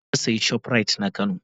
Na sayi shoprite na kano.